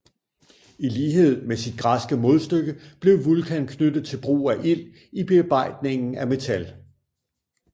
I lighed med sit græske modstykke blev Vulkan knyttet til brugen af ild i bearbejdningen af metal